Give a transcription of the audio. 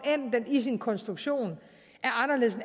end den i sin konstruktion er anderledes